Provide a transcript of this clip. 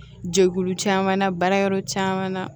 Jɛkulu caman na baara yɔrɔ caman na